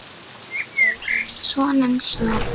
Þau eiga soninn Sverri.